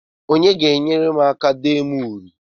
Onye ga-enyere m aka dee m uri?